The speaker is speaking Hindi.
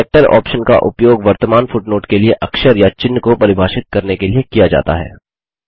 कैरेक्टर ऑप्शन का उपयोग वर्तमान फुटनोट के लिए अक्षर या चिन्ह को परिभाषित करने के लिए किया जाता है